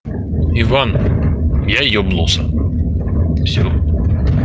иван я ёбнулся всё